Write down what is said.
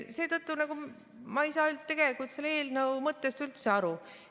Seetõttu ma ei saa tegelikult selle eelnõu mõttest üldse aru.